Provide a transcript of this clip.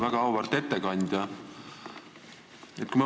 Väga auväärt ettekandja!